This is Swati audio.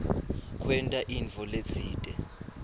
kwenta intfo letsite